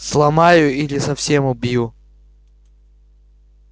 сломаю или совсем убью